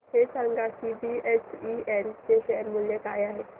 हे सांगा की बीएचईएल चे शेअर मूल्य काय आहे